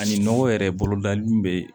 Ani nɔgɔ yɛrɛ bolodali min be